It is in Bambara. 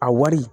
A wari